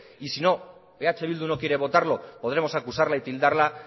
y si eh bildu no quiere votarlo podremos acusarla y tildarla